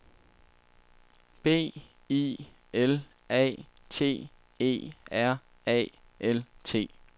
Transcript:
B I L A T E R A L T